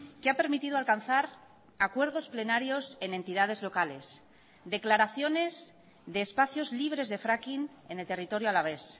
que ha permitido alcanzar acuerdos plenarios en entidades locales declaraciones de espacios libres de fracking en el territorio alavés